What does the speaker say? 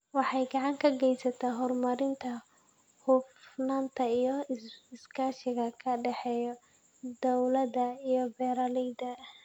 Waxay gacan ka geysataa horumarinta hufnaanta iyo iskaashiga ka dhexeeya dawladda iyo beeralayda.